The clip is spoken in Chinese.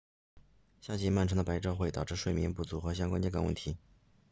夏季漫长的白昼会导致睡眠不足和相关健康问题